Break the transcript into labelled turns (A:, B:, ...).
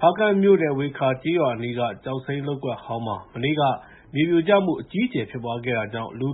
A: ဖားကန့်မြို့နယ် ဝေခါကျေးရွာအနီးက ကျောက်စိမ်းလုပ်ကွက်ဟောင်းမှာ မနေ့က မြေပြိုကျမှုအကြီးအကျယ် ဖြစ်ပွားခဲ့တာကြောင့် သေ